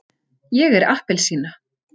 ég er appelsína.